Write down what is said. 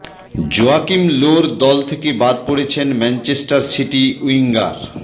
Joaquin লোর দল থেকে বাদ পড়েছেন ম্যানচেস্টার সিটি উইঙ্গার